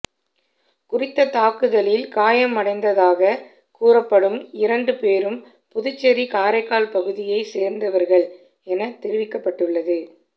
குறித்த தாக்குதலில் காயமடைந்ததாக கூறப்படும் இரண்டு பேரும் புதுச்சேரி காரைக்கால் பகுதியைச் சேர்ந்தவர்கள் என தெரிவிக்கப்பட்டுள்ளது